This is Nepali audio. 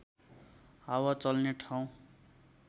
हावा चल्ने ठाउँ